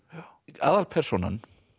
aðalpersónan